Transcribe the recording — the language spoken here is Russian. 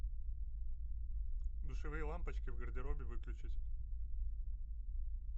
душевые лампочки в гардеробе выключить